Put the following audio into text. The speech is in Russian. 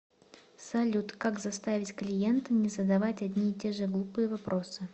салют как заставить клиента не задавать одни и те же глупые вопросы